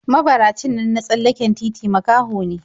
Mabaracin nan na tsallaken titi makaho ne/